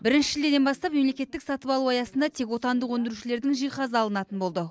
бірінші шілдеден бастап мемлекеттік сатып алу аясында тек отандық өндірушілердің жиһазы алынатын болды